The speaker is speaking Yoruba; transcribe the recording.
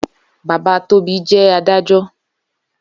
Baba Tobi jè àdájò